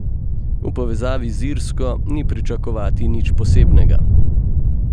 V povezavi z Irsko ni pričakovati nič posebnega.